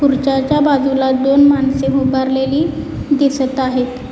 खुर्च्याच्या बाजूला दोन माणसे उभारलेली दिसत आहेत.